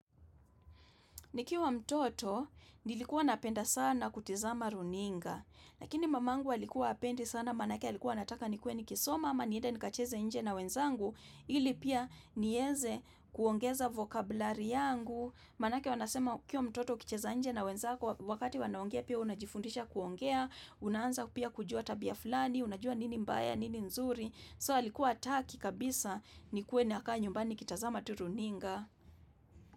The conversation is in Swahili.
Nikiwa mtoto, nilikuwa napenda sana kutizama runinga. Lakini mamangu alikuwa hapendi sana, maanake alikuwa anataka nikuwe nikisoma ama niende nikacheze nje na wenzangu, ili pia niweze kuongeza vokabulari yangu. Maanake wanasema ukiwa mtoto ukicheza nje na wenzako, wakati wanaongea pia wewe unajifundisha kuongea, unaanza pia kujua tabia fulani, unajua nini mbaya, nini nzuri. So, alikuwa hataki kabisa nikuwe nakaa nyumbani nikitazama tu runinga.